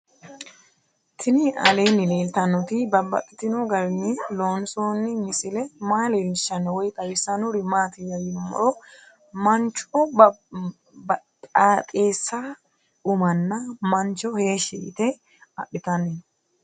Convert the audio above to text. Tinni aleenni leelittannotti babaxxittinno garinni loonsoonni misile maa leelishshanno woy xawisannori maattiya yinummoro manchu baxaaxxeessa ummanna mancho heeshi yiitte adhittanni noo